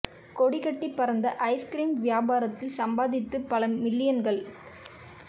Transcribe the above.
கொடி கட்டிப் பறந்த ஐஸ்கிரீம் வியா பாரத்தில் சம்பாதித்தது பல மில்லியன்கள்